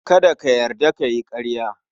Kada ka yarda ka yi ƙarya.